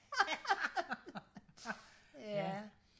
ja